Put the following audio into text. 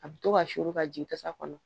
A bɛ to ka suru ka jigin kasa kɔnɔ